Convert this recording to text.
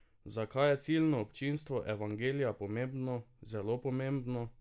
Zakaj je ciljno občinstvo Evangelija pomembno, zelo pomembno?